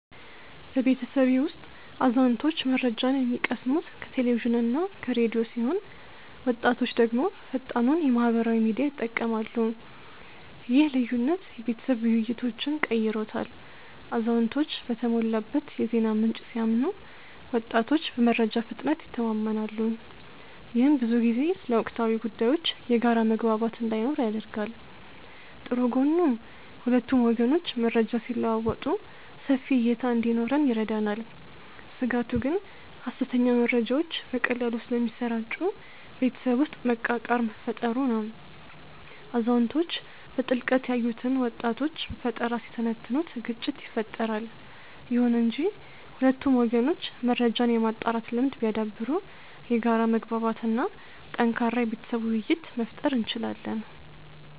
በቤተሰቤ ውስጥ አዛውንቶች መረጃን የሚቀስሙት ከቴሌቪዥንና ከራዲዮ ሲሆን ወጣቶች ደግሞ ፈጣኑን የማህበራዊ ሚዲያ ይጠቀማሉ። ይህ ልዩነት የቤተሰብ ውይይቶችን ቀይሮታል አዛውንቶች በተሞላበት የዜና ምንጭ ሲያምኑ ወጣቶች በመረጃ ፍጥነት ይተማመናሉ። ይህም ብዙ ጊዜ ስለ ወቅታዊ ጉዳዮች የጋራ መግባባት እንዳይኖር ያደርጋል። ጥሩ ጎኑ ሁለቱም ወገኖች መረጃ ሲለዋወጡ ሰፊ እይታ እንዲኖረን ይረዳናል። ስጋቱ ግን ሐሰተኛ መረጃዎች በቀላሉ ስለሚሰራጩ ቤተሰብ ውስጥ መቃቃር መፈጠሩ ነው። አዛውንቶች በጥልቀት ያዩትን ወጣቶች በፈጠራ ሲተነትኑት ግጭት ይፈጠራል። ይሁን እንጂ ሁለቱም ወገኖች መረጃን የማጣራት ልምድ ቢያዳብሩ የጋራ መግባባት እና ጠንካራ የቤተሰብ ውይይት መፍጠር እንችላለን።